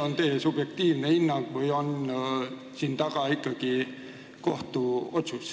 on teie subjektiivne hinnang või on siin taga ikkagi kohtuotsus.